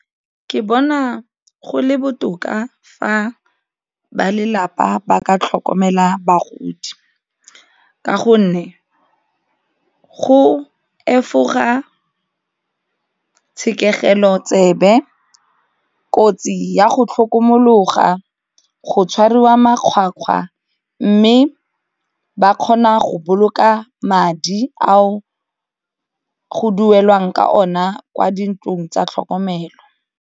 Ke bona go le botoka fa ba lelapa ba ka tlhokomela bagodi ka gonne go efoga tshekegelo tsebe, kotsi ya go tlhokomologa, go tshwariwa makgwakgwa mme ba kgona go boloka madi ao go duelwang ka ona kwa dintlong tsa tlhokomelo.